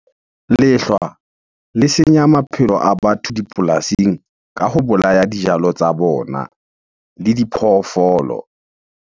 Lehlwa le senya maphelo a batho dipolasing ka ho bolaya dijalo tsa bona le diphoofolo.